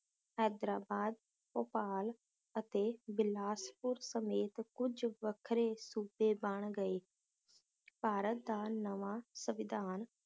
ਹੈਦਰਾਬਾਦ, ਭੋਪਾਲ, ਅਤੇ ਬਿਲਾਸਪੁਰ ਸਮੇਤ ਕੁਜ ਵੱਖਰੇ ਸੂਬੇ ਬਣ ਗਏ ਭਾਰਤ ਦਾ ਨਵਾਂ ਸੰਵਿਧਾਨ